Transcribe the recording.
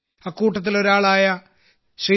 അക്കൂട്ടത്തിലൊരാളായ Shrimati